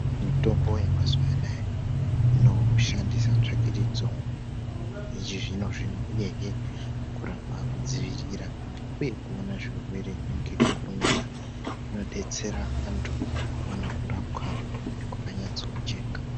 Mitombo yemazuva anaya inoshandise tsvakirudzo yechizvino-zvino uyehe kurapa, kudzivirira uye kuona zvirwere ngekukurumidza kunodetsera antu kuwana kurapwa kwakanyatsa kujeka.